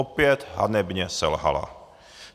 Opět hanebně selhala.